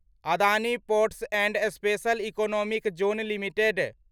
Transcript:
Adani ports and special economic zone limited